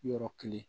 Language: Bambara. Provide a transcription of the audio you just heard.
Yɔrɔ kelen